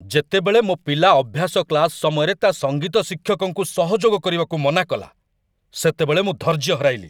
ଯେତେବେଳେ ମୋ ପିଲା ଅଭ୍ୟାସ କ୍ଲାସ୍‌ ସମୟରେ ତା' ସଙ୍ଗୀତ ଶିକ୍ଷକଙ୍କୁ ସହଯୋଗ କରିବାକୁ ମନା କଲା, ସେତେବେଳେ ମୁଁ ଧୈର୍ଯ୍ୟ ହରାଇଲି।